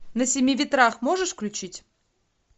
на семи ветрах можешь включить